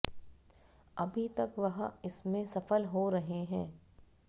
अभी तक वह इसमें सफल हो रहे हैं